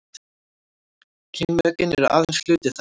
kynmökin eru aðeins hluti þess